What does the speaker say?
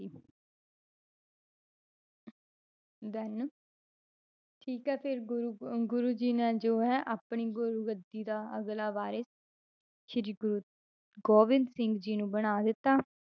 Then ਠੀਕ ਹੈ ਫਿਰ ਗੁਰੂ ਅਹ ਗੁਰੂ ਜੀ ਨੇ ਜੋ ਹੈ ਆਪਣੀ ਗੁਰੂਗੱਦੀ ਦਾ ਅਗਲਾ ਵਾਰਿਸ਼ ਸ੍ਰੀ ਗੁਰੂ ਗੋਬਿੰਦ ਸਿੰਘ ਜੀ ਨੂੰ ਬਣਾ ਦਿੱਤਾ,